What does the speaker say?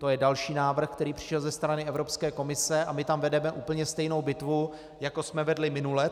To je další návrh, který přišel ze strany Evropské komise, a my tam vedeme úplně stejnou bitvu, jakou jsme vedli minule.